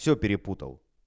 все перепутал